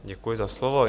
Děkuji za slovo.